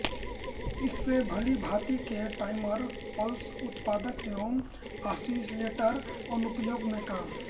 इसे भांतिभांति के टाइमर पल्स उत्पादन एवं आसिलेटर अनुप्रयोगों में काम